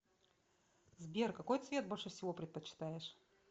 сбер какой цвет больше всего предпочитаешь